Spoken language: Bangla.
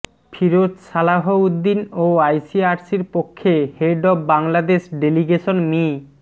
ফিরোজ সালাহ্ উদ্দিন ও আইসিআরসির পক্ষে head of Bangladesh delegation me